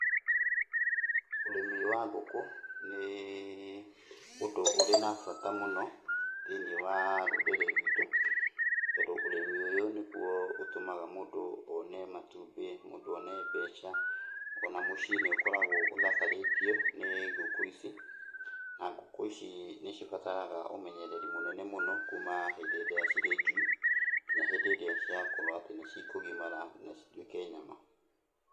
Ũrĩmĩ wa ngũkũ nĩ ũndũ ũrĩ na bata mũno thĩiniĩ wa rũrĩrĩ rwitũ, tondũ ũrĩmi ũyũ nĩguo ũtũmaga mũndũ one matumbĩ, mũndũ one mbeca, ona mũciĩ nĩũkoragwo ũthakarĩtio nĩ ngũkũ ici, na ngũkũ ici nĩ cibataraga ũmenyereri mũnene mũno kuma hĩndi ĩrĩa cirĩ njui, nginya hĩndĩ ĩrĩa ciakorwo atĩ nĩ cikũgimara na cituĩke nyama.